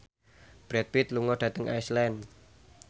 Brad Pitt lunga dhateng Iceland